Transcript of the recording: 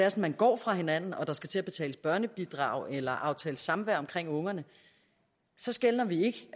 at man går fra hinanden og der skal til at betales børnebidrag eller aftales samvær omkring ungerne så skelner vi ikke